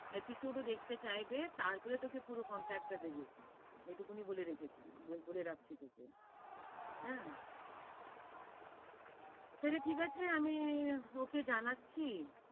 Episod ও দেখতে চাইবে, তারপরে তোকে পুরো contract টা দিবে। এটুকু আমি বলে রেখেছি, বলে রাখছি তোকে। অ্যা, তাইলে ঠিক আছে আমি ওকে জানাচ্ছি।